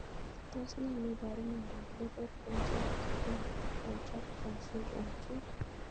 Tos nee neiparu miondop Lethal congenital contracture syndrome 2?